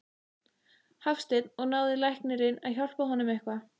Hafsteinn: Og náði læknirinn að hjálpa honum eitthvað?